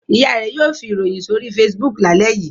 Ìyá rẹ̀ yóò fi ìròyìn sórí Facebook lálẹ́ yìí.